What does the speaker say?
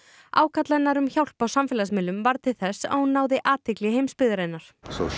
ákall hennar um hjálp á samfélagsmiðlum varð til þess að hún náði athygli heimsbyggðarinnar